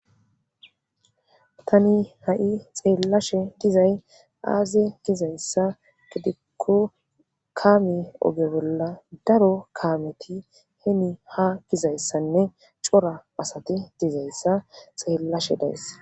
Tani ha7i xeellashe dizay aaze dizayssa gidikko kaame oge bolla daro kaameti heni ha gizayssanne cora asati dizayssa xeellashe dayssa.